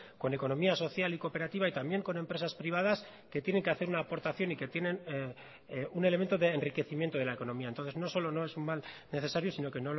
con economía social y cooperativa y también con empresas privadas que tienen que hacer una aportación y que tienen un elemento de enriquecimiento de la economía entonces no solo no es un mal necesario sino que